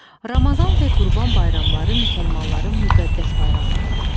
Ramazan və Qurban bayramları müsəlmanların müqəddəs bayramlarıdır.